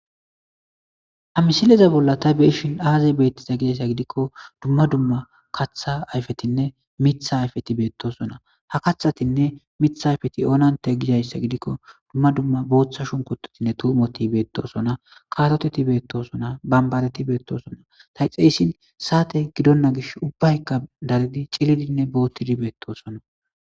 Hamisileza bolla ta beishin aazay beettiza gidayssa gidikko dumma dumma katha ayfetinne mitha ayfeti beettosona ha kathatinne mitha ayfeti oonante gidayssa gidikko dumma dumma booththa shunkutotinne tuumoti beettosona katoteti beettosona bambareti beettosona ta yxeeyssin saate gidonna gish ubbaykka daridi cilidinne boottidi beettosona